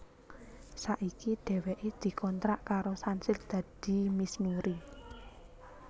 Saiki dhéwéké dikontrak karo Sunsilk dadi Miss Nuri